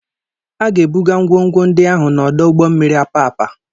A ga-ebuga ngwongwo ndị ahụ n'ọdụ ụgbọ mmiri Apapa.